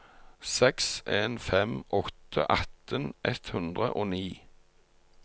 seks en fem åtte atten ett hundre og ni